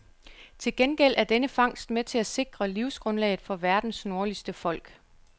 Til gengæld er denne fangst med til at sikre livsgrundlaget for verdens nordligste folk.